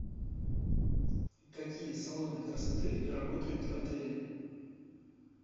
какие салоны красоты работают в отеле